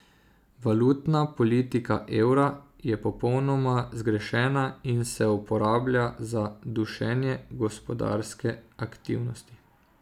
Valutna politika evra je popolnoma zgrešena in se uporablja za dušenje gospodarske aktivnosti.